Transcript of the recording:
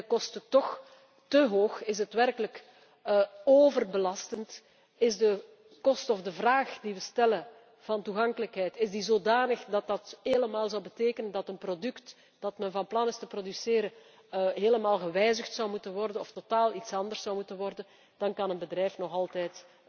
En zijn de kosten toch te hoog, is het werkelijk overbelastend, is de kost of de vraag die we stellen van toegankelijkheid zodanig, dat dit zou betekenen dat een product, dat men van plan is te produceren, helemaal gewijzigd zou moeten worden of totaal iets anders zou moeten worden, dan kan een bedrijf dat nog altijd